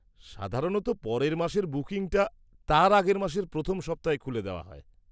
-সাধারণত পরের মাসের বুকিংটা তার আগের মাসের প্রথম সপ্তাহে খুলে দেওয়া হয়।